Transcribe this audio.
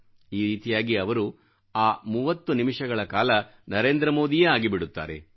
ಈ ರೀತಿಯಾಗಿ ಅವರು ಆ ಮೂವತ್ತು ನಿಮಿಷಗಳ ಕಾಲ ನರೇಂದ್ರಮೋದಿಯೇ ಆಗಿಬಿಡುತ್ತಾರೆ